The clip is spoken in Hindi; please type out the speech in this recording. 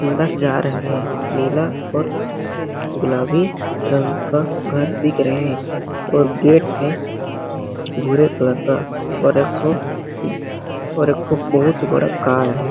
अंदर जा रहे हैं नीला और गुलाबी रंग का घर दिख रहे हैं और गेट है भूरे कलर का और एक ठो और एक ठो बहुत ही बड़ा कार है।